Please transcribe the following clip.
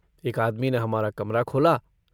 एक आदमी ने हमारा कमरा खोला।